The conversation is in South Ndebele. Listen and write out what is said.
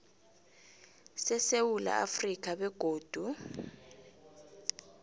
sesewula afrika begodu